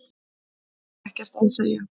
Hef ekkert að segja